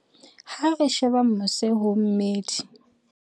Ha re sheba mose ho meedi